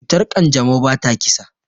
Cutar kanjamau bata kisa.